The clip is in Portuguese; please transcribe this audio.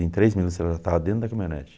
Em três minutos ela já estava dentro da caminhonete.